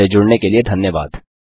हमसे जुड़ने के लिए धन्यवाद